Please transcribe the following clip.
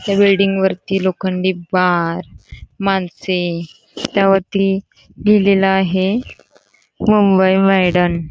त्या बिल्डिंगवरती लोखंडी बार माणसे त्यावरती लिहिलेलं आहे मुंबई मैदान.